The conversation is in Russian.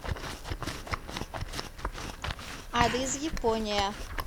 адрес япония